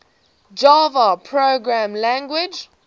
java programming language